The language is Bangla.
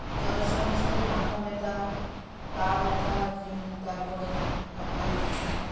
জ্বরের সঙ্গে সঙ্গে মাথাব্যথা গা ব্যথা জ তারপরে আপনার